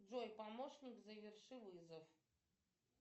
джой помощник заверши вызов